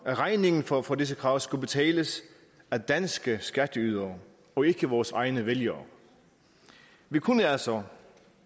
regningen for for disse krav skulle betales af danske skatteydere og ikke vores egne vælgere vi kunne altså